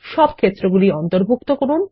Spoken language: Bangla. সব ক্ষেত্রগুলি অন্তর্ভুক্ত করুন